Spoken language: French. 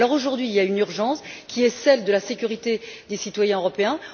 Aujourd'hui, il y a une urgence, qui est celle de la sécurité des citoyens européens.